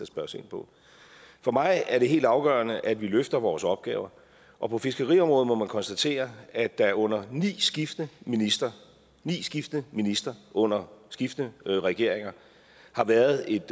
spørges ind på for mig er det helt afgørende at vi løfter vores opgaver og på fiskeriområdet må man konstatere at der under ni skiftende ministre ni skiftende ministre under skiftende regeringer har været et